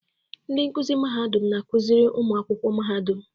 Ndị nkuzi mahadum na-akụziri ụmụ akwụkwọ mahadum.